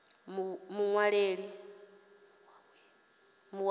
muwaweni